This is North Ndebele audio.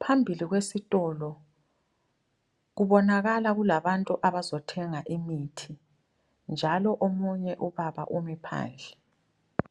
Phambili kwesitolo kubonakala kulabantu abazothenga imithi Njalo omunye ubaba umi phandle.